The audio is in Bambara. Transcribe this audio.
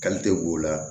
b'o la